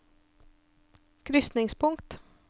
krysningspunkt